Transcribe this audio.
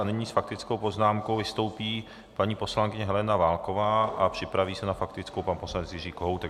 A nyní s faktickou poznámkou vystoupí paní poslankyně Helena Válková a připraví se na faktickou pan poslanec Jiří Kohoutek.